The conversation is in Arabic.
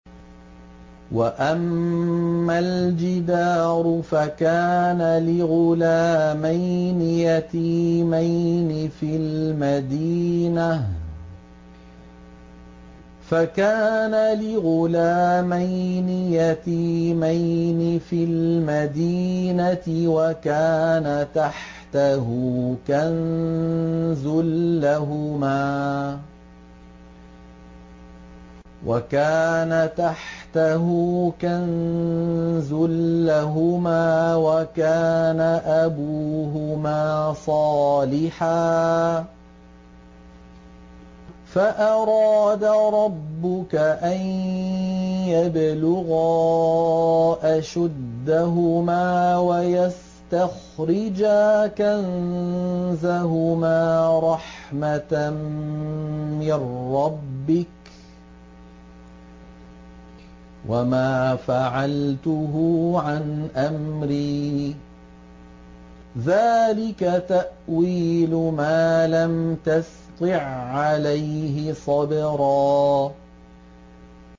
وَأَمَّا الْجِدَارُ فَكَانَ لِغُلَامَيْنِ يَتِيمَيْنِ فِي الْمَدِينَةِ وَكَانَ تَحْتَهُ كَنزٌ لَّهُمَا وَكَانَ أَبُوهُمَا صَالِحًا فَأَرَادَ رَبُّكَ أَن يَبْلُغَا أَشُدَّهُمَا وَيَسْتَخْرِجَا كَنزَهُمَا رَحْمَةً مِّن رَّبِّكَ ۚ وَمَا فَعَلْتُهُ عَنْ أَمْرِي ۚ ذَٰلِكَ تَأْوِيلُ مَا لَمْ تَسْطِع عَّلَيْهِ صَبْرًا